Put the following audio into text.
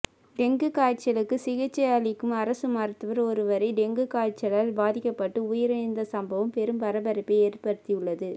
dengue காய்ச்சலுக்கு சிகிச்சை அளிக்கும் அரசு மருத்துவர் ஒருவரே டெங்கு காய்ச்சலால் பாதிக்கப்பட்டு உயிரிழந்த சம்பவம் பெரும் பரபரப்பை ஏற்படுத்தியுள்ளது